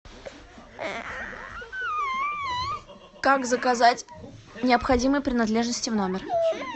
как заказать необходимые принадлежности в номер